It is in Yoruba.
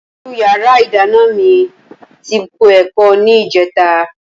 Inú yàrá ìdáná ni mi ti po ẹ̀kọ ní ìjẹta